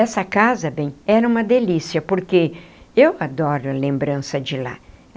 Essa casa, bem, era uma delícia, porque eu adoro a lembrança de lá.